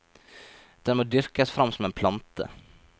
Den må dyrkes frem som en plante.